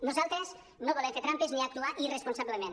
nosaltres no volem fer trampes ni actuar irresponsablement